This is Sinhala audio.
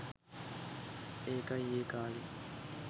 ඒකයි ඒ කාලේ